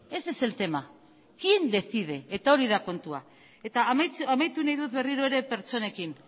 ese es el tema quién decide eta hori da kontua eta amaitu nahi dut berriro ere pertsonekin